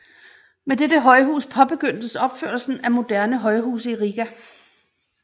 Med dette højhus påbegyndtes opførelsen af moderne højhuse i Riga